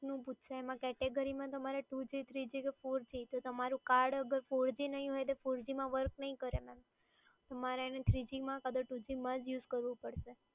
નું પૂછશે એમાં કેટેગરીમાં તમારે two g three g કે four g તો તમારું કાર્ડ અગર four g નહીં હોય તો four g માં work નહીં કરે મેડમ. તમારે એને three g માં કાં તો two g માં જ યુઝ કરવું પડશે.